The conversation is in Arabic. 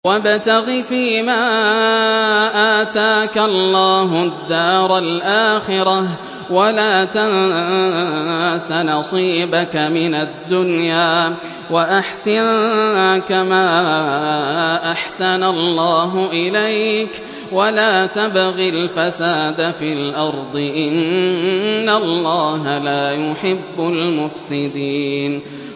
وَابْتَغِ فِيمَا آتَاكَ اللَّهُ الدَّارَ الْآخِرَةَ ۖ وَلَا تَنسَ نَصِيبَكَ مِنَ الدُّنْيَا ۖ وَأَحْسِن كَمَا أَحْسَنَ اللَّهُ إِلَيْكَ ۖ وَلَا تَبْغِ الْفَسَادَ فِي الْأَرْضِ ۖ إِنَّ اللَّهَ لَا يُحِبُّ الْمُفْسِدِينَ